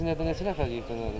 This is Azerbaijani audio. Sizin neçə nəfər yeyiblər orda?